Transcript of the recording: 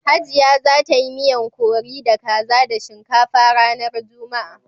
Hajiaya za ta yi miyan curri da kaza da shinkafa ranar Juma'a.